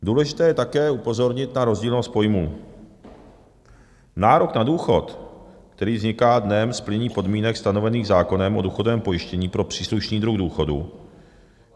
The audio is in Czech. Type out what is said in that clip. Důležité je také upozornit na rozdílnost pojmů: nárok na důchod, který vzniká dnem splnění podmínek stanovených zákonem o důchodovém pojištění pro příslušný druh důchodu.